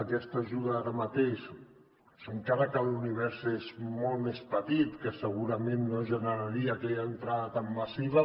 aquesta ajuda ara mateix encara que l’univers és molt més petit que segurament no generaria aquella entrada tan massiva